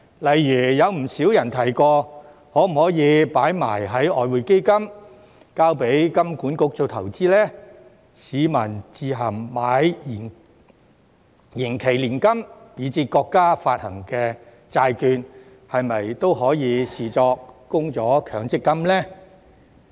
例如，有不少人提過可否把供款放入外匯基金，交給香港金融管理局做投資呢？市民自行購買延期年金，以至國家發行的債券，是否都可以視作供了強積金呢？